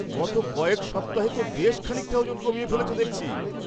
গত কয়েক সপ্তাহে তো বেশ খানিকটা ওজন কমিয়ে ফেলেছো দেখছি!